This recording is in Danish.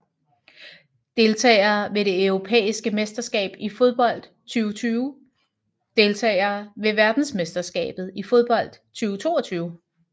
Deltagere ved det europæiske mesterskab i fodbold 2020 Deltagere ved verdensmesterskabet i fodbold 2022